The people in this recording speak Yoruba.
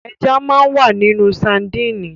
Ẹja máa ń wà nínú sadínì.